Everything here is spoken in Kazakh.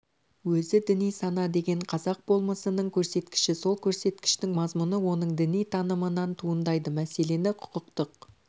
өзі діни сана деген қазақ болмысының көрсеткіші сол көрсеткіштің мазмұны оның діни танымынан туындайды мәселені құқықтық